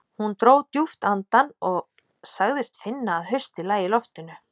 Hún dró djúpt andann og sagðist finna að haustið lægi í loftinu.